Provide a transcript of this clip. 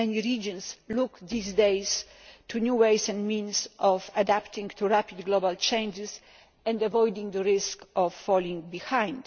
Many regions are looking these days at new ways and means of adapting to rapid global changes and avoiding the risk of falling behind.